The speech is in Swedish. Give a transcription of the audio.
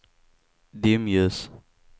dimljus